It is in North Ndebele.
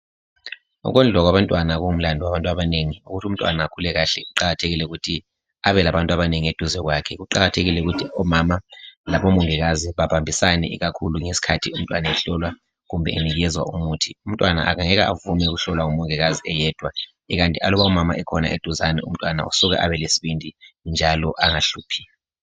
Ukondliwa kwabantwana kungumlando wabantu abanengi ukuthi umntwana akhule kahle kuqakathekile ukuthi abe labantu abanengi eduze kwakhe. Kuqakathekile ukuthi omama labomongikazi babambisane ikakhulu ngesikhathi behlolwa kumbe benikezwa umuthi. Umntwana angeke avume ukuhlolwa ngumongikazi eyedwa kukanti aluba umama ekhona eduzane umntwana usuka Abe lesibindi njalo angahluphi.